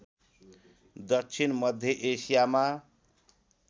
दक्षिण मध्य एसियामा